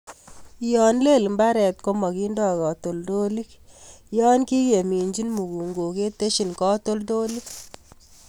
Yon lel mbaret komokindo katoltolik yon kikeminjin mukunkok ketesyin katoltolik.